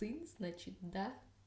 ты значит да